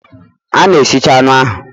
A na-esicha anụ ahụ